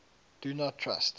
do not trust